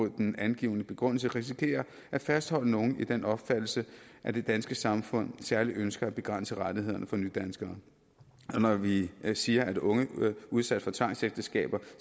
den angivne begrundelse risikerer at fastholde nogle i den opfattelse at det danske samfund særlig ønsker at begrænse rettighederne for nydanskere når vi siger at unge udsat for tvangsægteskab